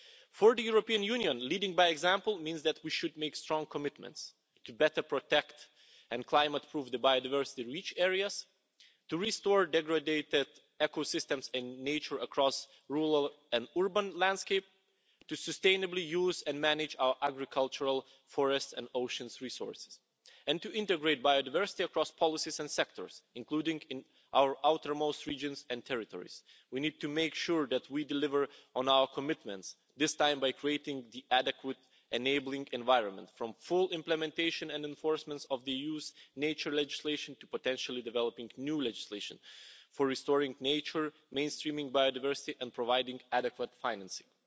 For the European Union, leading by example means that we should make strong commitments to better protect and climate proof the biodiversity-rich areas, to restore degraded ecosystems in nature across rural and urban landscapes, to sustainably use and manage our agricultural, forest and ocean resources, and to integrate biodiversity across policies and sectors, including in our outermost regions and territories. We need to make sure that we deliver on our commitments, this time by creating the adequate enabling environment, from full implementation and enforcement of the EU's nature legislation to potentially developing new legislation for restoring nature, mainstreaming biodiversity and providing adequate financing.